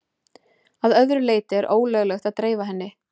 Að öðru leyti er ólöglegt að dreifa henni.